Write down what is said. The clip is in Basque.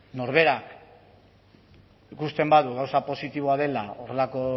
norberak ikusten badu gauza positiboa dela horrelako